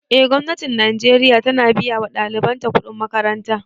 Eh gwamnatin najeriya ta na biya wa ɗaliban ta kuɗin makaranta